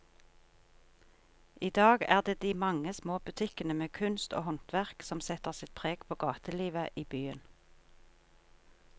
I dag er det de mange små butikkene med kunst og håndverk som setter sitt preg på gatelivet i byen.